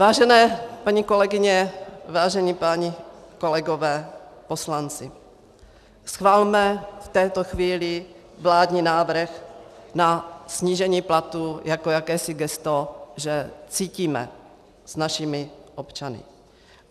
Vážené paní kolegyně, vážení páni kolegové poslanci, schvalme v této chvíli vládní návrh na snížení platů jako jakési gesto, že cítíme s našimi občany.